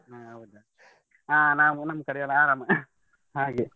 ಹಾ ಹೌದಾ ಆ ನಾವು ನಮ್ ಕಡೆ ಎಲ್ಲಾ ಆರಾಮ ಹಾಗೆ.